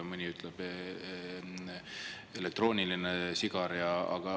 Mõni ütleb "elektrooniline sigar".